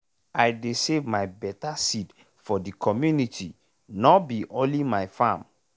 i dey save my better seed for de community nor be only my farm.